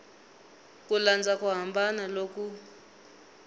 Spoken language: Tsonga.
ku landza ku hambana loku